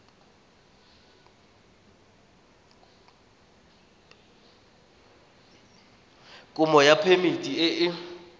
kopo ya phemiti e e